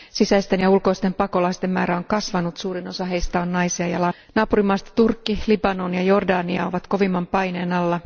Sisäisten ja ulkoisten pakolaisten määrä on kasvanut ja suurin osa heistä on naisia ja lapsia. Naapurimaista Turkki, Libanon ja Jordania ovat kovimman paineen alla.